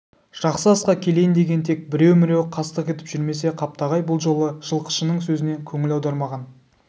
жақсы асқа келейін деген тек біреу-міреу қастық етіп жүрмесе қаптағай бұл жолы жылқышының сөзіне көңіл аудармаған